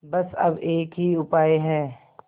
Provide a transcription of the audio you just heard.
बस अब एक ही उपाय है